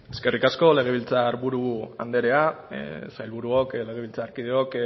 eskerrik asko legebiltzarburu andrea sailburuok legebiltzarkideok